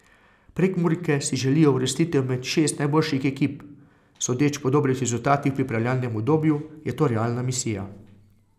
Prekmurke si želijo uvrstitev med šest najboljših ekip, sodeč po dobrih rezultatih v pripravljalnem obdobju, je to realna misija.